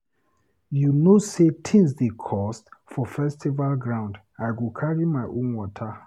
You know sey tins dey cost for festival ground, I go carry my own water.